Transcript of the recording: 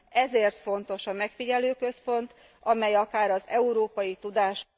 Ezért fontos a megfigyelőközpont, amely akár az európai tudás